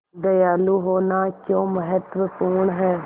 दयालु होना क्यों महत्वपूर्ण है